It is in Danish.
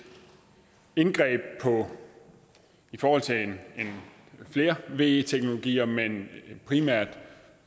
indgreb i forhold til flere ve teknologier men primært